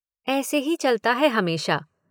ऐसे ही चलता है हमेशा।